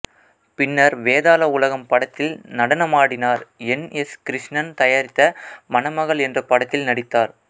பின்னர் வேதாள உலகம் படத்தில் நடனமாடினார் என் எஸ் கிருஷ்ணன் தயாரித்த மணமகள் என்ற படத்தில் நடித்தார்